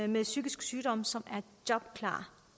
med en psykisk sygdom som er jobklare